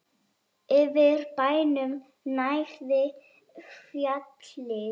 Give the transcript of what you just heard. Yfir bænum gnæfði fjallið